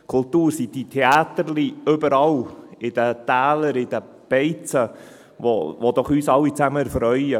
Kultur sind diese «Theäterli» in den Tälern, in den Beizen, die uns doch alle zusammen erfreuen.